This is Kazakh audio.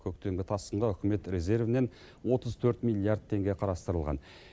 көктемгі тасқынға үкімет резервінен отыз төрт миллиард теңге қарастырылған